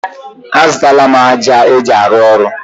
A zụtala m ájá eji arụ ọrụ.